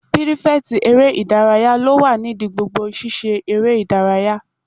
Pírífẹ̀tì eré ìdárayá ló wà nídi gbogbo sisé eré ìdárayá